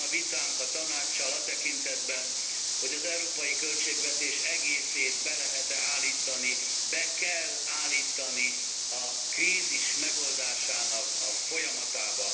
Megvan a vitánk a Tanáccsal a tekintetben, hogy az európai költségvetés egészét be lehet e állítani, be kell állítani a krízis megoldásának a folyamatába.